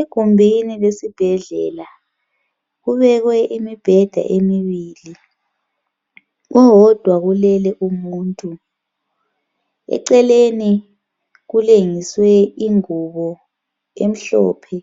Egumbini lesibhedlela kubekwe imibheda emibili. Owodwa ulele umuntu. Eceleni kulengiswe ingubo emhlophe